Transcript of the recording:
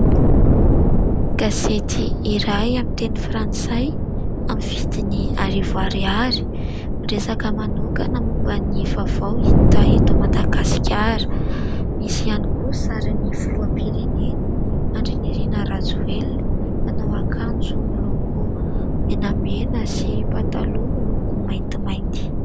Gazety iray amin'ny teny Frantsay amin'ny vidiny arivo ariary, miresaka manokana momba ny vaovao hita eto Madagasikara, misy ihany koa sarin'ny filoham-pirenena Andrinirina Rajoelina, manao akanjo miloko menamena sy pataloha miloko maintimainty.